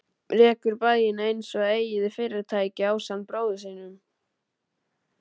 Rekur bæinn einsog eigið fyrirtæki ásamt bróður sínum.